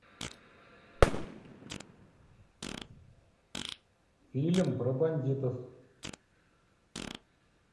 фильм про бандитов